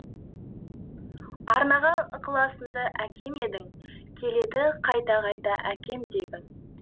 арнаған ықыласыңды әкем едің келеді қайта қайта әке дегім